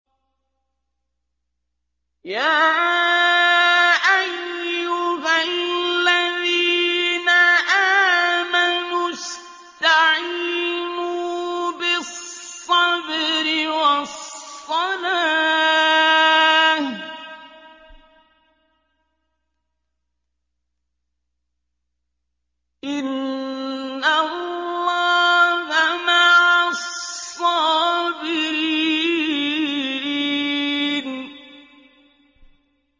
يَا أَيُّهَا الَّذِينَ آمَنُوا اسْتَعِينُوا بِالصَّبْرِ وَالصَّلَاةِ ۚ إِنَّ اللَّهَ مَعَ الصَّابِرِينَ